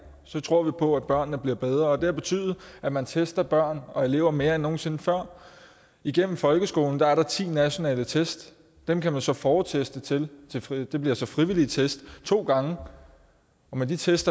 så tror vi på at børnene bliver bedre det har betydet at man tester børn og elever mere end nogen sinde før igennem folkeskolen er der ti nationale test dem kan man så forteste til det bliver så frivillige test to gange og med de test